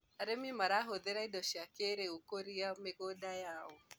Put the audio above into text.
arĩmi marahũthira indo cia kĩiriu kũria mĩgũnda yao